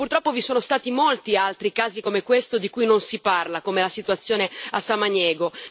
Purtroppo vi sono stati molti altri casi come questo, di cui non si parla, come la situazione a Samaniego.